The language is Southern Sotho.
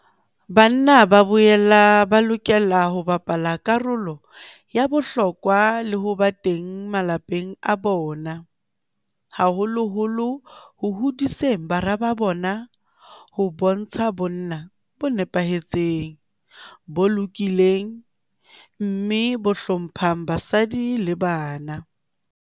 Banna ba boela ba lokela ho bapala karolo ya bohlokwa le ho ba teng malapeng a bona, haholoholo ho hodiseng bara ba bona ho bontsha bonna bo nepahetseng, bo lokileng mme bo hlo mphang basadi le bana.